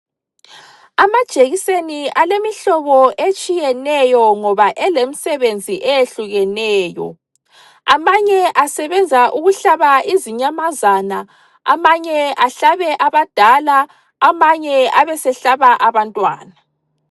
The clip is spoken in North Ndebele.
Amajekiseni alemihlobo etshiyeneyo ngoba elemisebenzi eyehlukeneyo. Amanye asebenza ukuhlaba izinyamazana, amanye ahlabe abadala, amanye abesehlaba abantwana.